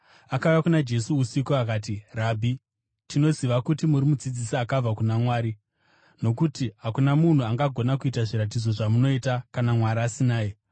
Akauya kuna Jesu usiku akati, “Rabhi, tinoziva kuti muri mudzidzisi akabva kuna Mwari. Nokuti hakuna munhu angagona kuita zviratidzo zvamunoita kana Mwari asinaye.”